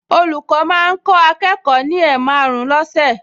Olùkọ́ máa ń kọ́ akẹ́kọ̀ọ ní ẹ̀maàrún lọ́sẹ̀